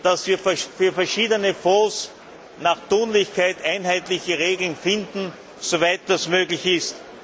dass wir für verschiedene Fonds nach Tunlichkeit einheitliche Regeln finden, soweit das möglich ist.